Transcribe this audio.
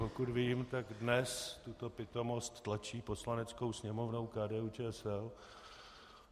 Pokud vím, tak dnes tuto pitomost tlačí Poslaneckou sněmovnou KDU-ČSL.